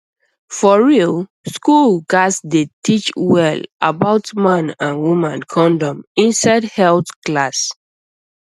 for real school gats dey teach well about man and woman condom inside health class